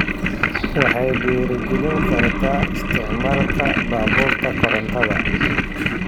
Waxay dhiirigelin kartaa isticmaalka baabuurta korontada.